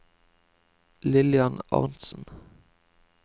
Lillian Arntzen